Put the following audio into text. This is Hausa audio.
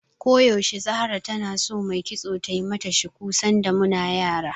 Ko yaushe Zahra tana so mai kitso tai mata shuku, sanda muna yara.